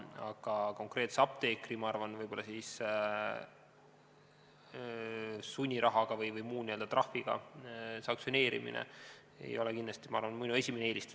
Aga konkreetse apteekri sunniraha või muu trahviga sanktsioneerimine ei ole kindlasti minu esimene eelistus.